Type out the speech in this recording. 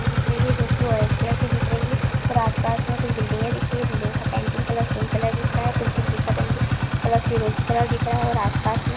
दिख रही है जो की ओरेंज कलर की दिख रही है और आसपास में कुछ बिल्डिंगे दिख रही है बिल्डिंग का पेंटिंग कलर पिंक कलर दिख रहा है और कुछ बिल्डिंग का पेंटिंग कलर फिरोजी कलर दिख रहा है और आसपास में --